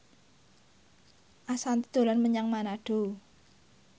Ashanti dolan menyang Manado